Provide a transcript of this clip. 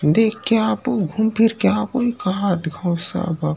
देख के आबो घूम फिर के आबो एकात घाव सब --